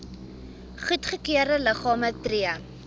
goedgekeurde liggame tree